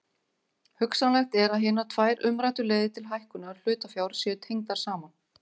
Hugsanlegt er að hinar tvær umræddu leiðir til hækkunar hlutafjár séu tengdar saman.